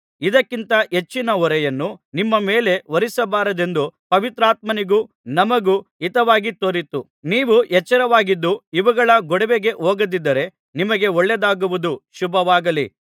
ಇದಕ್ಕಿಂತ ಹೆಚ್ಚಿನ ಹೊರೆಯನ್ನು ನಿಮ್ಮ ಮೇಲೆ ಹೊರಿಸಬಾರದೆಂದು ಪವಿತ್ರಾತ್ಮನಿಗೂ ನಮಗೂ ಹಿತವಾಗಿ ತೋರಿತು ನೀವು ಎಚ್ಚರವಾಗಿದ್ದು ಇವುಗಳ ಗೊಡವೆಗೆ ಹೋಗದಿದ್ದರೆ ನಿಮಗೆ ಒಳ್ಳೆಯದಾಗುವುದು ಶುಭವಾಗಲಿ